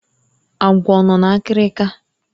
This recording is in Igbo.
Agwọ ọ nọ na-akịrịka?